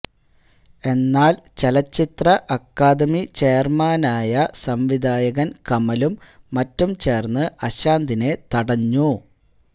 എന്നാല് ചലച്ചിത്ര അക്കാദമി ചെയര്മാനായ സംവിധായകന് കമലും മറ്റും ചേര്ന്ന് അശാന്തിനെ തടഞ്ഞു